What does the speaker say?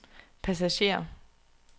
passager